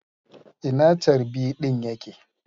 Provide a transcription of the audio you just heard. Ina charbi ɗin ya ke?